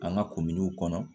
An ka kominiw kɔnɔ